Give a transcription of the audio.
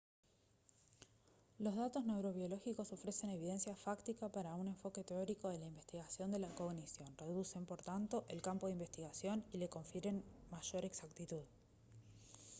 los datos neurobiológicos ofrecen evidencia fáctica para un enfoque teórico de la investigación de la cognición reducen por tanto el campo de investigación y le confieren mayor exactitud